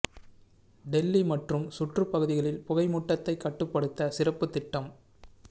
டெல்லி மற்றும் சுற்றுப் பகுதிகளில் புகை மூட்டத்தை கட்டுப்படுத்த சிறப்பு திட்டம்